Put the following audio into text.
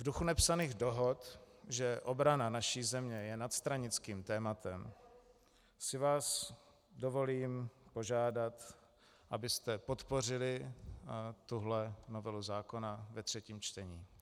V duchu nepsaných dohod, že obrana naší země je nadstranických tématem, si vás dovolím požádat, abyste podpořili tuhle novelu zákona ve třetím čtení.